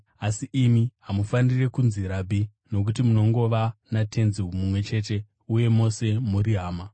“Asi imi hamufaniri kunzi ‘Rabhi’ nokuti munongova naTenzi mumwe chete uye mose muri hama.